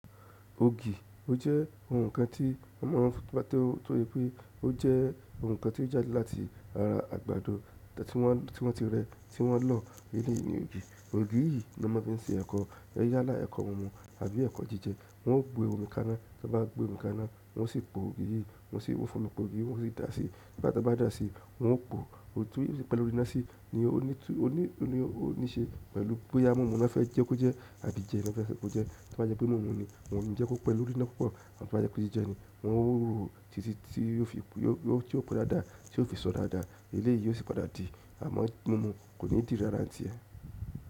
Ògì, o jẹ́ ohun kan tí ọmọ wọn rí nígbà tí wọ́n tóye pé ó jẹ́ ohun kan tí ó jáde láti ara àgbàdo tí wọ́n ti rẹ, tí wọ́n lò eleyi ni ògì. Ògì yìí ni wọ́n fi ń ṣe ẹ̀kọ́, yálá ẹ̀kọ́ mumu tàbí ẹ̀kọ́ jíjẹ. Wọ́n ó gbé omi kaná, tí wọ́n bá gbé omi kaná, wọ́n sì po ògì yìí, wọ́n sì wọ́n fún mi po ògì yìí, wọ́n sì dàá síi. Tí bá dàá síi, wọn ó po, ojú pẹ̀lú rínásí ni ó ní tú, ó ní ṣe pẹ̀lú pé ẹamọmọ náà fẹ́ jẹ kó jẹ́ tàbí jẹ náà fẹ́ jẹ kó jẹ́. Tí wọ́n bá jẹ́ pé mimu ni, wọ́n o ni jẹ kó pẹ̀ lo ríná púpọ̀. Àti tí wọ́n bá jẹ́ pé jíjẹ ni, wọn ó ro o ti tí ó fi po dáadáa, tí ó fi sọ dáadáa. Eleyi yi o si padà di amo mimu ko ni di rara n tie.